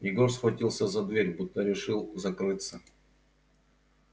егор схватился за дверь будто решил закрыться